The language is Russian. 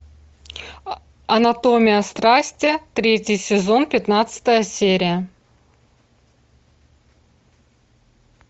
анатомия страсти третий сезон пятнадцатая серия